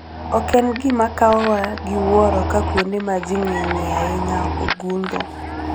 Ok en gima kawowa gi wuoro ka kuonde ma ji ng'enyie ahinya ogundho.